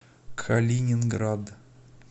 калининград